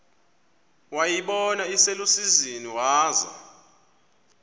wayibona iselusizini waza